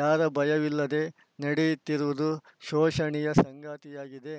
ಯಾರ ಭಯವಿಲ್ಲದೆ ನಡೆಯುತ್ತಿರುವುದು ಶೋಚನೀಯ ಸಂಗತಿಯಾಗಿದೆ